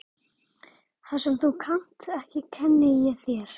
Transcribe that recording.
Það sem þú kannt ekki kenni ég þér.